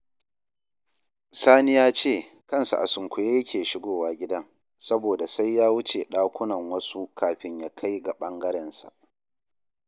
Sani ya ce kansa a sunkuye yake shigowa gidan saboda sai ya wuce ɗakunan wasu kafin ya kai ga ɓangarensa